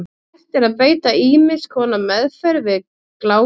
Hægt er að beita ýmiss konar meðferð við gláku.